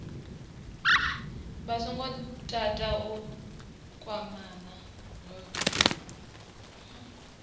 vha songo tata u kwamana